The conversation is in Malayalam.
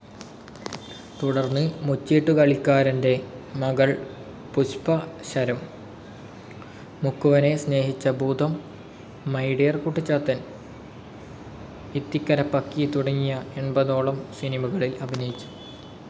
തുടർന്ന് മുച്ചീട്ടുകളിക്കാരൻ്റെ മകൾ, പുഷ്പശരം, മുക്കുവനെ സ്നേഹിച്ച ഭൂതം, മൈ ഡിയർ കുട്ടിച്ചാത്തൻ, ഇത്തിക്കരപ്പക്കി തുടങ്ങി എൺപതോളം സിനിമകളിൽ അഭിനയിച്ചു.